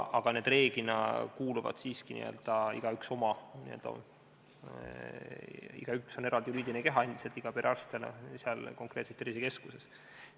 Aga üldiselt on igaüks siiski eraldi juriidiline keha, konkreetne perearst tervisekeskuses.